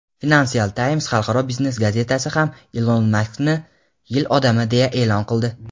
"Financial Times" xalqaro biznes gazetasi ham Ilon Maskni "Yil odami" deya e’lon qildi.